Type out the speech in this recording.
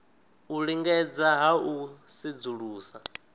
u lingedza ha u sedzulusa